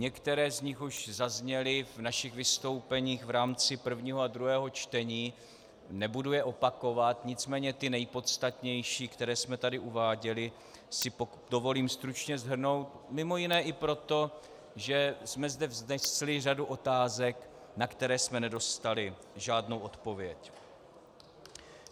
Některé z nich už zazněly v našich vystoupeních v rámci prvního a druhého čtení, nebudu je opakovat, nicméně ty nejpodstatnější, které jsme tady uváděli, si dovolím stručně shrnout, mimo jiné i proto, že jsme zde vznesli řadu otázek, na které jsme nedostali žádnou odpověď.